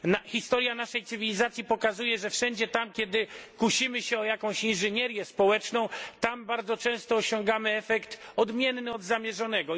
Historia naszej cywilizacji pokazuje, że wszędzie tam, gdzie kusimy się o jakąś inżynierię społeczną, bardzo często osiągamy efekt odmienny od zamierzonego.